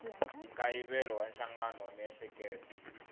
nkayivelo wa nhlangano wa miehleketo